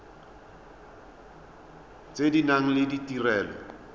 tse di nang le ditirelo